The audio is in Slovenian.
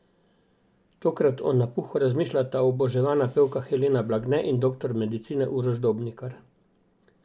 Tokrat o napuhu razmišljata oboževana pevka Helena Blagne in doktor medicine Uroš Dobnikar.